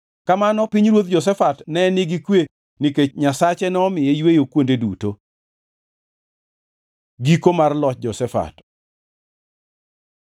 Kamano pinyruoth Jehoshafat ne nigi kwe nikech Nyasache nomiye yweyo kuonde duto. Giko mar loch Jehoshafat